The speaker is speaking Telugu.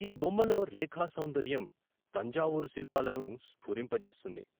ఈ బొమ్మలో రేఖా సౌంద ర్యం తంజావూరు శిల్పా లను స్ఫురింప జేస్తుంది.